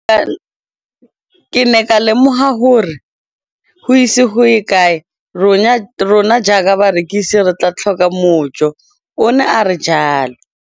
Ke ne ka lemoga gore go ise go ye kae rona jaaka barekise re tla tlhoka mojo, o ne a re jalo.